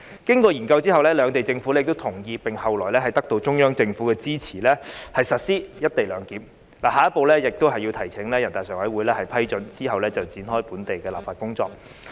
經過研究後，兩地政府均同意並後來得到中央政府的支持實施"一地兩檢"安排，下一步便是提請人大常委會批准，然後展開本地的立法工作。